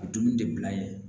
A bɛ dumuni de bila yen